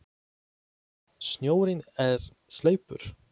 Snjórinn er sleipur!